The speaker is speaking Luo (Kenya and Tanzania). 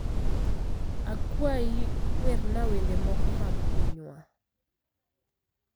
Akwayi, werna wende moko mag pinywa.